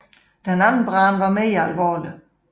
Den anden brand var mere alvorlig